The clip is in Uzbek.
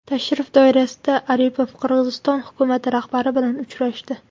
Tashrif doirasida Aripov Qirg‘iziston hukumati rahbari bilan uchrashdi .